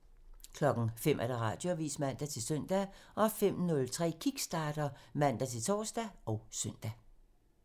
05:00: Radioavisen (man-søn) 05:03: Kickstarter (man-tor og søn)